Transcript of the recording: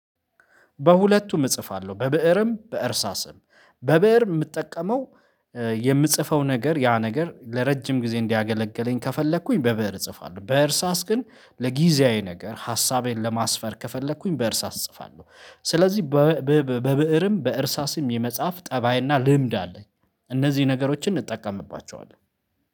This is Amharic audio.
በሁለቱም እጽፋለሁ በብእርም በእርሳስም በብእር የምጠቀመው የምጽፈው ነገር ያ ነገር ለረጅም ጊዜ እንዲያገለግለኝ ከፈለኩኝ በብእር እጽፋለሁ። በእርሳስ ግን ለጊዜያዊ ነገር ሀሳቤን ለማስፈር ከፈለኩኝ በእርሳስ እጽፋለሁ። ስለዚህ በብእርም በእርሳስም የመጽሐፍ ጠባይና ልምድ አለኝ። እነዚህ ነገሮችን እንጠቀምባቸዋለን